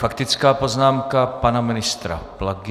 Faktická poznámka pana ministra Plagy.